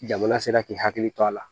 Jamana sera k'i hakili to a la